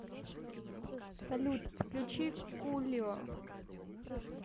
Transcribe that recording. салют включи кулио